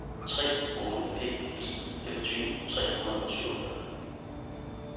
tre otte fem fire femogtyve tre hundrede og syvogfyrre